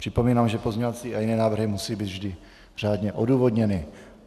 Připomínám, že pozměňovací a jiné návrhy musí být vždy řádně odůvodněny.